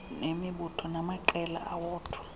nemibutho namaqela awodwa